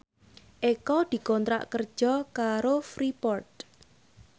Eko dikontrak kerja karo Freeport